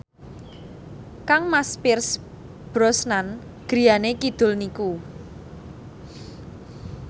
kangmas Pierce Brosnan griyane kidul niku